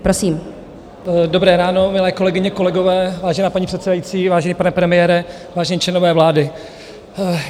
Dobré ráno, milé kolegyně, kolegové, vážená paní předsedající, vážený pane premiére, vážení členové vlády.